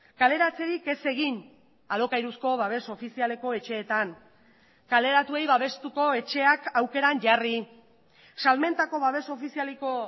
kaleratzerik ez egin alokairuzko babes ofizialeko etxeetan kaleratuei babestuko etxeak aukeran jarri salmentako babes ofizialeko